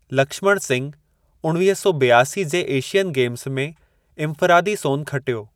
लक्ष्मण सिंघ उणिवीह सौ बि॒आसी जे एशियन गेम्ज़ में इन्फ़िरादी सोन खटियो।